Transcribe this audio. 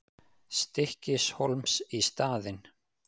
Stykkishólms í staðinn.